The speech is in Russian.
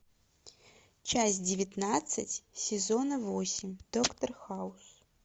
часть девятнадцать сезона восемь доктор хаус